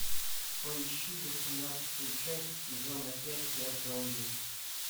поищи восемнадцатую часть сезона пять я зомби